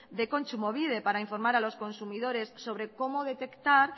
de kontsumobide para informar a los consumidores sobre cómo detectar